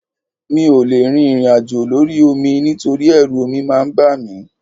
Mi ò lè rin ìrìnàjò lórí omi nítorí ẹrú omi máa ń bà mí